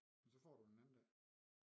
Men så får du en anden dag